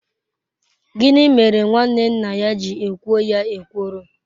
Gịnị mere nwanne nne ya ji ekwo ya ekworo?